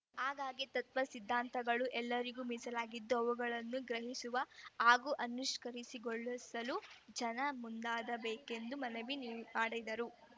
ಹಾಗಾಗಿ ತತ್ವ ಸಿದ್ಧಾಂತಗಳು ಎಲ್ಲರಿಗೂ ಮೀಸಲಾಗಿದ್ದು ಅವುಗಳನ್ನು ಗ್ರಹಿಸುವ ಹಾಗೂ ಅನುಷ್ಠಾಕರಿಸಿ ಗೊಳಿಸಲು ಜನ ಮುಂದಾಗಬೇಕೆಂದು ಮನವಿ ಮಾಡಿದರು